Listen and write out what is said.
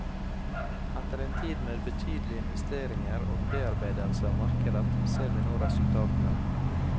Etter en tid med betydelig investeringer og bearbeidelse av markedet, ser vi nå resultatene.